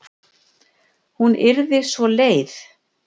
Hún yrði svo leið.